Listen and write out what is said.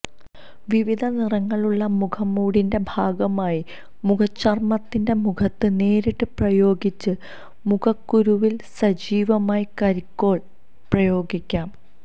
വിവിധ നിറങ്ങളുള്ള മുഖംമൂടിന്റെ ഭാഗമായി മുഖചർമ്മത്തിന്റെ മുഖത്ത് നേരിട്ട് പ്രയോഗിച്ച് മുഖക്കുരുവിൽ സജീവമായി കരിക്കോൾ പ്രയോഗിക്കാം